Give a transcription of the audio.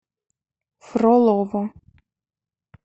фролово